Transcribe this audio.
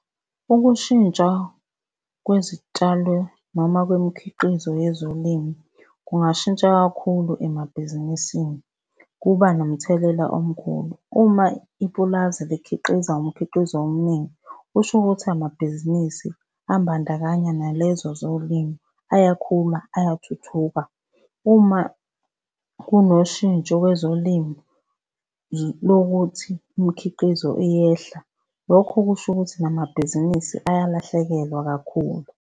Ukushintsha kwezitshalo noma kwemikhiqizo yezolimo kungashintsha kakhulu emabhizinisini kuba nomthelela omkhulu. Uma ipulazi likhiqiza umkhiqizo omningi, kusho ukuthi amabhizinisi abandakanya nalezo zolimo, ayakhula ayathuthuka. Uma kunoshintsho kwezolimo lokuthi imkhiqizo iyehla, lokho kusho ukuthi namabhizinisi ayalahlekelwa kakhulu.